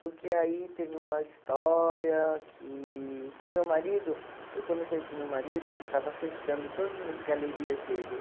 Porque aí teve uma história que... Com o meu marido, eu quando conheci o meu marido, ele estava fechando todas as galerias dele.